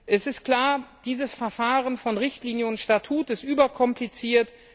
Es ist klar, dieses Verfahren von Richtlinie und Statut ist überkompliziert.